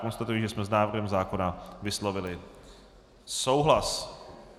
Konstatuji, že jsme s návrhem zákona vyslovili souhlas.